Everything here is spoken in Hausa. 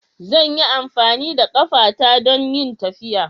Zan yi amfani da ƙafata don yin tafiya.